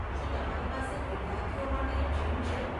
શું તમારી પાસે વિદ્યાર્થીઓ માટે જિમ છે?